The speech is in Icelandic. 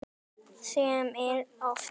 Sem er oft.